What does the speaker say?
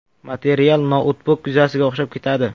Material noutbuk yuzasiga o‘xshab ketadi.